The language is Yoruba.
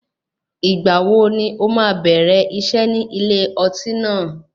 Ìgbà wo ni ó máa bẹ̀rẹ̀ iṣẹ́ ní ilé ọtí náà?